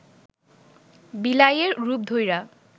বিলাইয়ের রূপ ধইরা